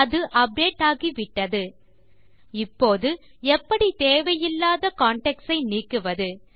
அது அப்டேட் ஆகிவிட்டது இப்போது எப்படி தேவையில்லாத கான்டாக்ட்ஸ் ஐ நீக்குவது